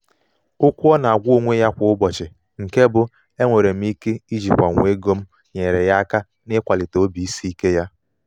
okwu ọ na-agwa onwe ya kwa ụbọchị nke bụ "enwere m ike ijikwanwu ego m" nyeere ya aka n'ịkwalite obisiike ya.